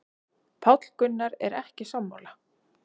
Páll Gunnar er ekki sammála.